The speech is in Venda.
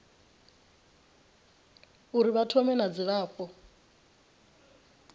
uri vha thome na dzilafho